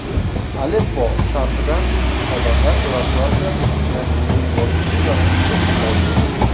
Aleppo sharqidan odamlar evakuatsiyasining yakuniy bosqichi vaqtinchalik qoldirildi.